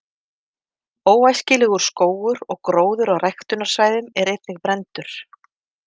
Óæskilegur skógur og gróður á ræktunarsvæðum er einnig brenndur.